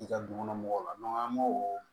I ka du kɔnɔ mɔgɔw la an m'o